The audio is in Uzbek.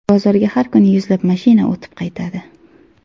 Bozorga har kuni yuzlab mashina o‘tib qaytadi.